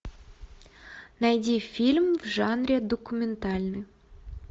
найди фильм в жанре документальный